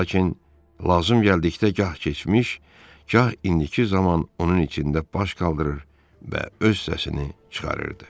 Lakin lazım gəldikdə gah keçmiş, gah indiki zaman onun içində baş qaldırır və öz səsini çıxarırdı.